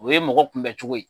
O ye mɔgɔ kunbɛn cogo ye.